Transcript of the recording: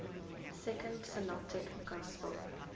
second synoptic gospel